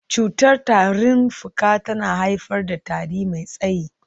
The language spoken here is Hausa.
Cutar tarin fuka tana haifar da tari mai tsayi.